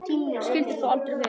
Skyldi þó aldrei vera.